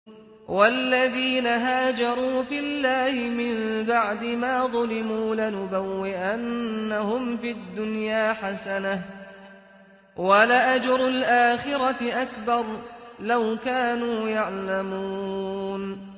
وَالَّذِينَ هَاجَرُوا فِي اللَّهِ مِن بَعْدِ مَا ظُلِمُوا لَنُبَوِّئَنَّهُمْ فِي الدُّنْيَا حَسَنَةً ۖ وَلَأَجْرُ الْآخِرَةِ أَكْبَرُ ۚ لَوْ كَانُوا يَعْلَمُونَ